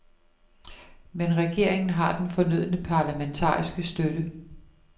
Men regeringen har den fornødne parlamentariske støtte.